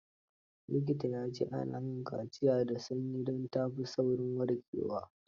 Likitan ya ce; ana yin kaciya da sanyi, don ta fi saurin warkewa.